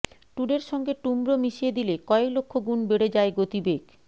টুডের সঙ্গে টুমরো মিশিয়ে দিলে কয়েক লক্ষ গুণ বেড়ে যায় গতিবেগ